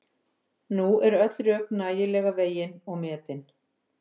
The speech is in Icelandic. Nú eru öll rök nægilega vegin og metin.